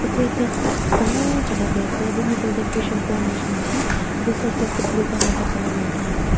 edu ekta ch dangor jaka tae ase yatae middle tae fishery pond nishina ase edu side side tae blue colour pa colour marikaena ase.